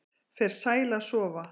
Fer sæl að sofa